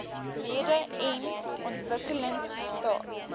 lede n ontwikkelingstaat